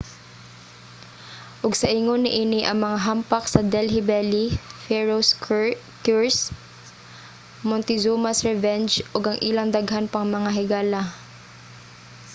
ug sa ingon niini ang mga hampak sa delhi belly pharaoh's curse montezuma's revenge ug ang ilang daghan pang mga higala